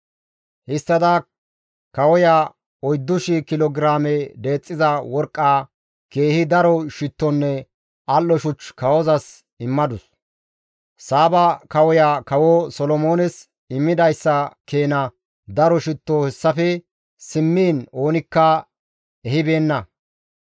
Histtada kawoya 4,000 kilo giraame deexxiza worqqaa, keehi daro shittonne al7o shuch kawozas immadus. Saaba kawoya Kawo Solomoones immidayssa keena daro shitto hessafe simmiin oonikka ehibeenna.